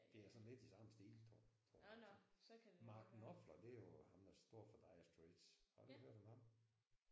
Det er sådan lidt i samme stil tror jeg tror jeg. Mark Knopfler det er jo ham der står for Dire Straits har du ikke hørt om ham?